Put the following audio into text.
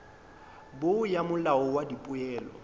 bo ya molao wa dipoelo